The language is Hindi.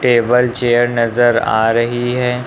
टेबल चेयर नजर आ रही है।